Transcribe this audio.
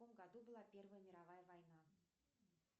в каком году была первая мировая война